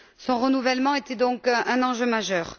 Son renouvellement était donc un enjeu majeur.